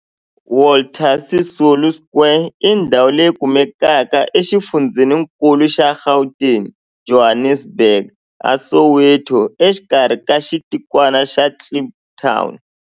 Walter Sisulu Square i ndhawu leyi kumekaka exifundzheni-nkulu xa Gauteng, Johannesburg, a Soweto, exikarhi ka xitikwana xa Kliptown.